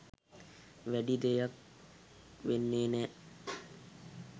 වැඩි දෙයක් වෙන්නෙ නෑ.